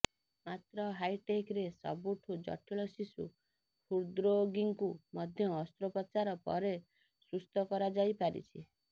ମାତ୍ର ହାଇଟେକ୍ରେ ସବୁଠୁ ଜଟିଳ ଶିଶୁ ହୃଦ୍ରୋଗୀଙ୍କୁ ମଧ୍ୟ ଅସ୍ତ୍ରୋପଚାର ପରେ ସୁସ୍ଥ କରାଯାଇପାରିଛି